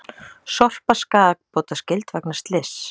Sorpa skaðabótaskyld vegna slyss